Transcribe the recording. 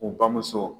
U bamuso